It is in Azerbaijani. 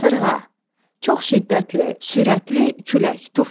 Qasırğa, çox şiddətli, sürətli külək, tufan.